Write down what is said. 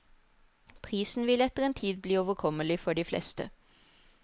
Prisen vil etter en tid bli overkommelig for de fleste.